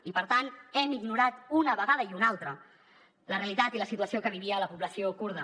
i per tant hem ignorat una vegada i una altra la realitat i la situació que vivia la població kurda